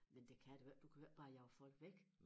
Men det kan du ikke du kan jo ikke bare jage folk væk